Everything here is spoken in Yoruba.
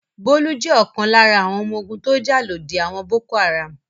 Bólú jẹ́ ọ̀kan lára àwọn ọmọ ogun tó jà lòdì àwọn Boko-Haram.